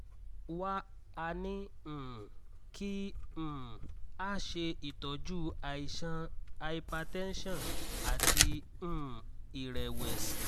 wá a ní um kí um a ṣe itọju àìsàn hypertension àti um ìrẹ̀wẹ̀sì